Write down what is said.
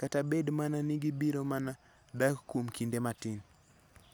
kata bed mana ni gibiro mana dak kuom kinde matin.